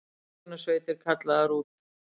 Björgunarsveitir kallaðar út